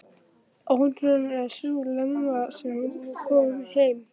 Óútreiknanleg sú Lena sem nú er komin heim.